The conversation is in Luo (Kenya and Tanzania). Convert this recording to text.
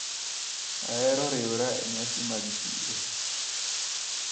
Ahero riwra e nyasi mag chiro.